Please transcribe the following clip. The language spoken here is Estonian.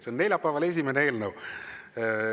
See on neljapäevane esimene eelnõu.